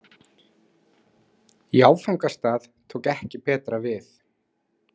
Í áfangastað tók ekki betra við.